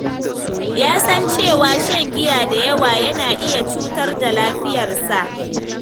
Ya san cewa shan giya da yawa yana iya cutar da lafiyarsa.